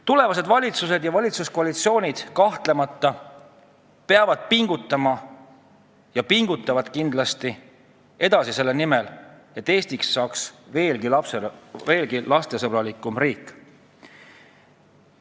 Tulevased valitsused ja valitsuskoalitsioonid kahtlemata peavad pingutama ja pingutavadki kindlasti edasi selle nimel, et Eestist saaks veelgi lapsesõbralikum riik.